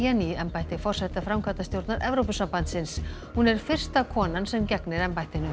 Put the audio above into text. í embætti forseta framkvæmdastjórnar Evrópusambandsins hún er fyrsta konan sem gegnir embættinu